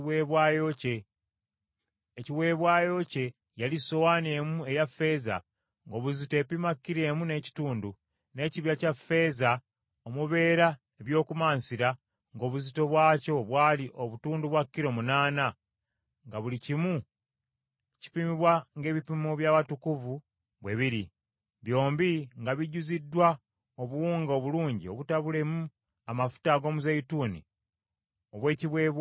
Ekiweebwayo kye yali sowaani emu eya ffeeza ng’obuzito epima kilo emu n’ekitundu, n’ekibya kya ffeeza omubeera eby’okumansira ng’obuzito bwakyo bwali obutundu bwa kilo, munaana, nga buli kimu kipimibwa ng’ebipimo by’awatukuvu bwe biri, byombi nga bijjuziddwa obuwunga obulungi obutabulemu amafuta ag’omuzeeyituuni obw’ekiweebwayo eky’emmere y’empeke;